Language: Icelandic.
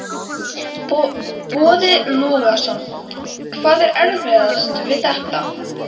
Boði Logason: Hvað er erfiðast við þetta?